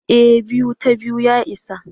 eh, 2 ta 2 ya isa